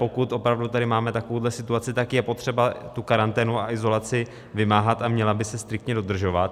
Pokud opravdu tady máme takovouhle situaci, tak je potřeba tu karanténu a izolaci vymáhat a měla by se striktně dodržovat.